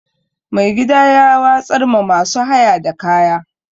Mai gida ya watsar ma masu haya da kaya.